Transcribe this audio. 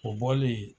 O bɔlen